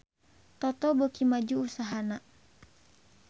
Toto beuki maju usahana